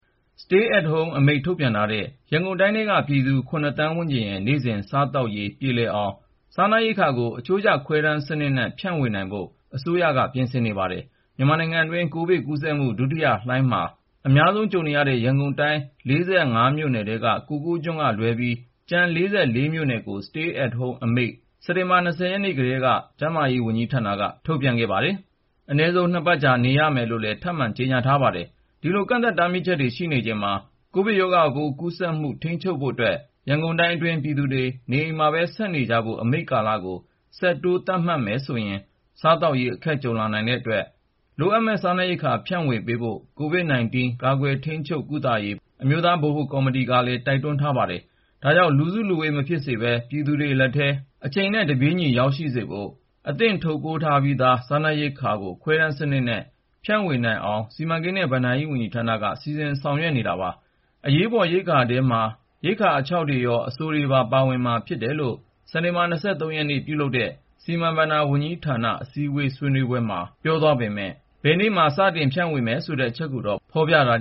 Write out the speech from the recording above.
Stay at Home အမိန့် ထုတ်ပြန်ထားတဲ့ ရန်ကုန်တိုင်းထဲက ပြည်သူ (၇)သန်းဝန်းကျင်ရဲ့ နေ့စဉ် စားသောက်ရေး ပြေလည်အောင် စားနပ်ရိက္ခာကို အချိုးကျခွဲတမ်းစနစ် Ration နဲ့ ဖြန့်ဝေနိုင်ဖို့ အစိုးရက ပြင်ဆင်နေပါတယ်။ မြန်မာနိုင်ငံတွင်း ကိုဗစ်ကူးစက်မှု ဒုတိယလှိုင်းမှာ အများဆုံးကြုံနေရတဲ့ ရန်ကုန်တိုင်း(၄၅)မြို့ထဲက ကိုကိုကျွန်းကလွဲပြီး ကျန်(၄၄)မြို့နယ်ကို Stay at Home အမိန့်နဲ့ နေအိမ်မှာပဲ နေကြဖို့ ၊ စက်တင်ဘာ(၂၀)ရက်နေ့ကတည်းက ကျန်းမာရေးနဲ့အားကစား ဝန်ကြီးဌာနက တားမြစ်ခဲ့တာပါ။ အနည်းဆုံး ၂ ပတ်ကြာ နေရမယ်လို့လည်း ထပ်မံကြေညာ ထားပါတယ်။ ဒီလိုကန့်သတ် တားမြစ်ချက်တွေ ရှိနေချိန်မှာ ရောဂါပိုးကူးစက်မှု ထိန်းချုပ်ဖို့အတွက် ရန်ကုန်တိုင်းအတွင်းက ပြည်သူတွေ နေအိမ်မှာပဲ ဆက်နေကြဖို့ အမိန့်ကာလကို ဆက်တိုး သတ်မှတ်မယ်ဆိုရင် စားသောက်ရေး အခက်ကြုံလာနိုင်တဲ့အတွက် လိုအပ်မယ့် စားနပ်ရိက္ခာ ဖြန့်ဝေပေးဖို့ COVID-19 ကာကွယ်ထိန်းချုပ်ကုသရေး အမျိုးသား ဗဟိုကော်မတီကလည်း တိုက်တွန်းထားပါတယ်။ ဒါကြောင့် လူစုလူဝေး မဖြစ်စေပဲ ပြည်သူတွေလက်ထဲ အချိန်နဲ့တပြေးညီ ရောက်ရှိစေဖို့ အသင့်ထုတ်ပိုးထားပြီးသား စားနပ်ရိက္ခာကို ခွဲတမ်းစနစ်နဲ့ ဖြန့်ဝေနိုင်အောင် စီမံကိန်းနဲ့ ဘဏ္ဍာရေးဝန်ကြီးဌာနက စီစဉ်ဆောင်ရွက်နေတာပါ။ အရေးပေါ်ရိက္ခာထဲမှာ ရိက္ခာအခြောက်တွေရော အစိုတွေပါ ပါဝင်မှာဖြစ်တယ်လို့ စက်တင်ဘာ ၂၃ ရက်နေ့က ပြုလုပ်တဲ့ စီမံဘဏ္ဍာ ဝန်ကြီးဌာနအစည်းဝေးမှာ ဆွေးနွေး သွားပေမဲ့ ဘယ်နေ့မှာ စတင်ဖြန့်ဝေမယ်ဆိုတဲ့ အချက်ကိုတော့ ဖေါ်ပြ မထား